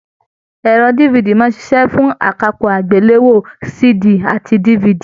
Ẹrọ DVD máa n ṣiṣẹ fún akápò agbelewo CD àti DVD.